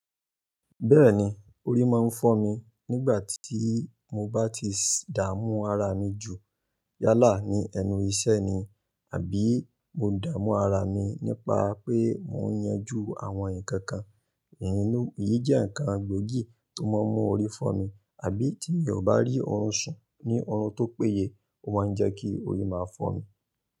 Bẹ́ẹ̀ni, orí máa ń fọ́ mi nígbà tí mo bá ti dààmú ara mi jù yálà ní ẹnu iṣẹ́ ni àbí mo dààmú ara mi nípa pé mò ń yanjú àwọn nǹkan kan, eyi jẹ́ ǹnkan gbòógì tó máa ń mú orí fọ́ mi, àbí tí mi bá rí oorun sùn ní oorun tó péye, ó máa ń jẹ́ kí orí máa fọ́ mi.